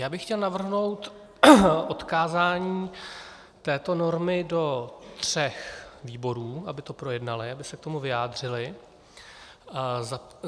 Já bych chtěl navrhnout odkázání této normy do tří výborů, aby to projednaly, aby se k tomu vyjádřily.